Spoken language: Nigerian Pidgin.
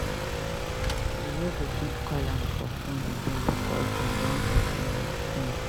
You no go fit call am for fone again because dem don tiff im fone.